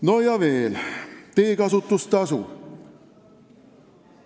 No ja veel, teekasutustasu.